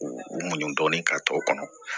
U u muɲu dɔɔnin ka t'o kɔnɔ